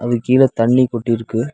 அதுக்கு கீழ தண்ணி கொட்டி இருக்கு.